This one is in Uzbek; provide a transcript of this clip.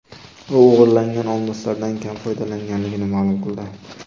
U o‘g‘irlangan olmoslardan kam foydalanganligini ma’lum qildi.